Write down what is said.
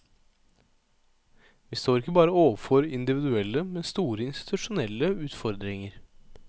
Vi står ikke bare overfor individuelle, men store institusjonelle utfordringer.